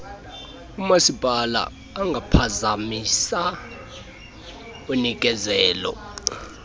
umasipala angaphazamisa unikezelo